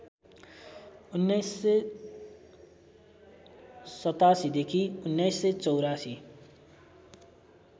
१९८७ देखी १९८४